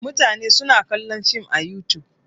Mutane suna kallon Film a Yutub.